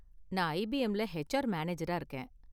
நான் ஐபிஎம்ல ஹெச்ஆர் மேனேஜரா இருக்கேன்.